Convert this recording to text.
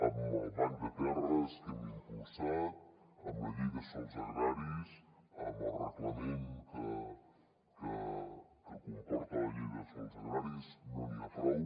amb el banc de terres que hem impulsat amb la llei de sòls agraris amb el reglament que comporta la llei de sòls agraris no n’hi ha prou